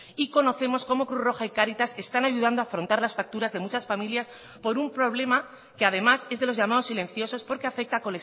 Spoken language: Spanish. y conocemos como cruz roja y cáritas están ayudando a afrontar las facturas de muchas familias por un problema que además es de los llamados silenciosos porque afecta